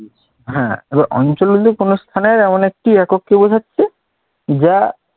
হ্যাঁ এবার অঞ্চল বলতে কোনও স্থানের এমন একটি একককে বুঝাচ্ছে যা